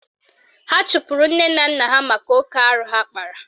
Ha chụpụrụ nne na nna ha maka oke arụ ha kpara